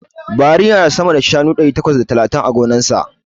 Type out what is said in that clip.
Buhari yana da sama da shanu ɗari takwas da talatin a gonarsa.